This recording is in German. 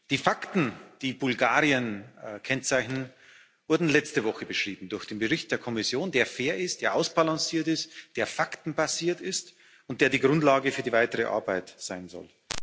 Die Fakten, die Bulgarien kennzeichnen, wurden letzte Woche durch den Bericht der Kommission beschrieben, der fair ist, der ausbalanciert ist, der faktenbasiert ist, und der die Grundlage für die weitere Arbeit sein soll.